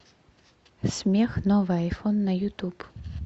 смех новый айфон на ютуб